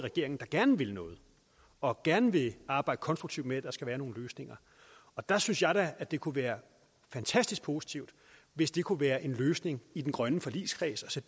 regeringen der gerne vil noget og gerne vil arbejde konstruktivt med at skabe nogle løsninger der synes jeg da at det kunne være fantastisk positivt hvis det kunne være en løsning i den grønne forligskreds